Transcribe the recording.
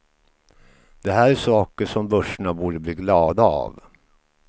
Det här är saker som börserna borde bli glada av.